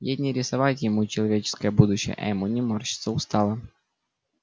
ей не рисовать ему человеческое будущее а ему не морщиться устало